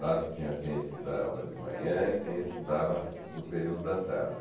Claro que tinha quem estudava de manhã e quem estudava no período da tarde.